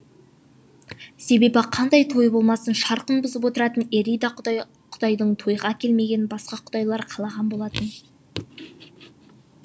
себебі қандай той болмасын шырқын бұзып отыратын эрида құдай құдайдың тойға келмегенін басқа құдайлар қалаған болатын